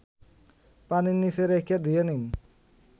পানির নিচে রেখে ধুয়ে নিন